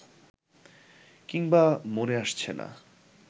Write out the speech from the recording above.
কিংবা মনে আসছে না